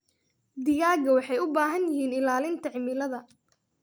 Digaagga waxay u baahan yihiin ilaalinta cimilada.